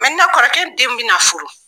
kɔrɔkɛ denw bɛ na furu.